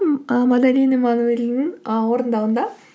ы мадалин эммануэленің ы орындауында